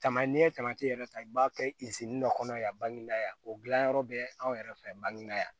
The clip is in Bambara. Tama n'i ye tamati yɛrɛ ta i b'a kɛ dɔ kɔnɔ yan o gilanyɔrɔ bɛ anw yɛrɛ fɛ yan bange yan